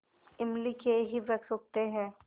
इमली के ही वृक्ष उगते हैं